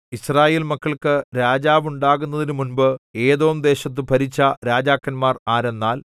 യിസ്രായേൽമക്കൾക്കു രാജാവുണ്ടാകുന്നതിനു മുമ്പ് ഏദോംദേശത്തു ഭരിച്ച രാജാക്കന്മാർ ആരെന്നാൽ